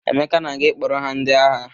Emeka na-aga ịkpọrọ ha ndị agha.